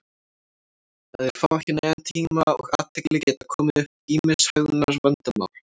ef þeir fá ekki nægan tíma og athygli geta komið upp ýmis hegðunarvandamál